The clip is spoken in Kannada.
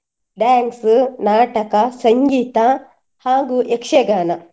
Dance , ನಾಟಕ, ಸಂಗೀತ ಹಾಗು ಯಕ್ಷಗಾನ.